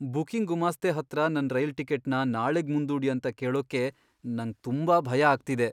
Booking ಗುಮಾಸ್ತೆ ಹತ್ರ ನನ್ ರೈಲ್ ಟಿಕೆಟ್ನ ನಾಳೆಗ್ ಮುಂದೂಡಿ ಅಂತ ಕೇಳೋಕ್ಕೆ ನಂಗ್ ತುಂಬಾ ಭಯ ಆಗ್ತಿದೆ.